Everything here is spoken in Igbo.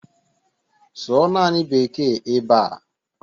Sụọ naanị Beeke ebe a!